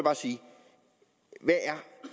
vil